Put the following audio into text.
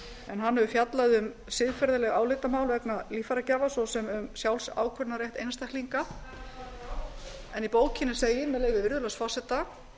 en hann hefur fjallað um siðferðileg álitamál vegna líffæragjafa svo sem um sjálfsákvörðunarrétt einstaklinga í bókinni segir með leyfi virðulegs forseta